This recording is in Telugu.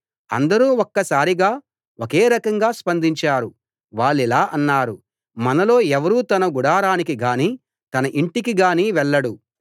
అందరూ ఒక్కసారిగా ఒకే రకంగా స్పందించారు వాళ్ళిలా అన్నారు మనలో ఎవరూ తన గుడారానికి గానీ తన ఇంటికి గానీ వెళ్ళడు